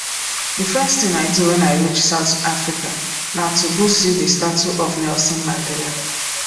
the first thing i do wen i reach south africa na to go see the statue of nelson mandela